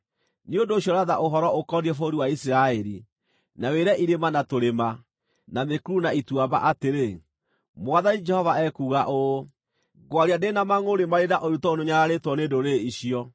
Nĩ ũndũ ũcio ratha ũhoro ũkoniĩ bũrũri wa Isiraeli, na wĩre irĩma na tũrĩma, na mĩkuru na ituamba, atĩrĩ: ‘Mwathani Jehova ekuuga ũũ: Ngwaria ndĩ na mangʼũrĩ marĩ na ũiru tondũ nĩũnyararĩtwo nĩ ndũrĩrĩ icio.